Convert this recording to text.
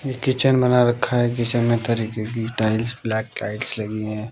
यह किचन बना रखा है किचन में तरीके की टाइल्स ब्लैक टाइल्स लगी हैं।